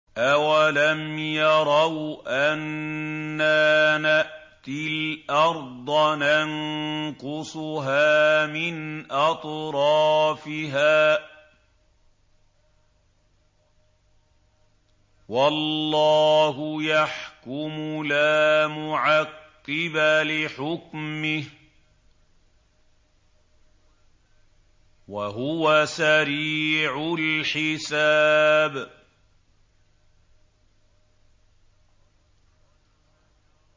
أَوَلَمْ يَرَوْا أَنَّا نَأْتِي الْأَرْضَ نَنقُصُهَا مِنْ أَطْرَافِهَا ۚ وَاللَّهُ يَحْكُمُ لَا مُعَقِّبَ لِحُكْمِهِ ۚ وَهُوَ سَرِيعُ الْحِسَابِ